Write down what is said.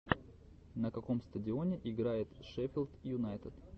на каком стадионе играет шеффилд юнайтед